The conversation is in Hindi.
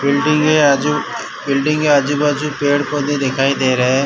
बिल्डिंग के आजू बिल्डिंग के आजू बाजू पेड़ पौधे दिखाई दे रहे हैं।